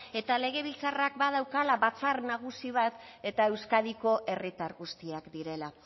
eta legebiltzarrak badaukala batzar nagusi bat eta euskadiko herritar guztiak direla